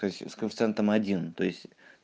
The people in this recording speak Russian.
то есть с коэффициентом один то есть